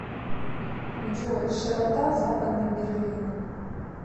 джой широта западный берлин